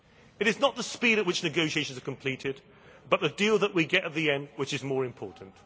It is not the speed at which negotiations are completed, but the deal that we get at the end which is more important.